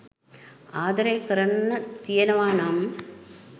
ආදරය කරන්න තියෙනවා නම්